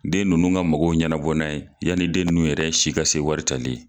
Den nunnu ka mɔgɔw ɲɛnabɔ n'a ye, yani den nunnu yɛrɛ si ka se wari tali ye.